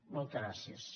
moltes gràcies